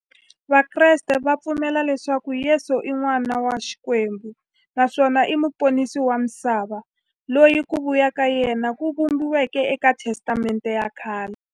Vakreste va pfumela leswaku Yesu i n'wana wa Xikwembu naswona i muponisi wa misava, loyi ku vuya ka yena ku vhumbiweke e ka Testamente ya khale.